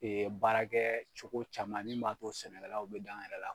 baarakɛ cogo caman nin b'a to sɛnɛkɛlaw bɛ da an yɛrɛ la.